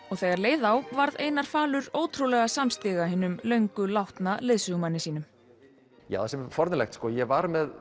og þegar leið á varð Einar falur ótrúlega samstíga hinum löngu látna leiðsögumanni sínum já það er forvitnlegt ég var með